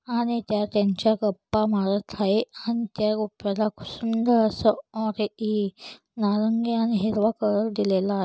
आणि त्या त्यांच्या गप्पा मारत आहे सुंदर असं औरे इ नारंगी आणि हिरवा कलर दिलेला आहे.